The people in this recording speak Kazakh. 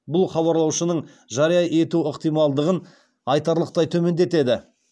бұл хабарлаушының жария ету ықтималдығын айтарлықтай төмендетеді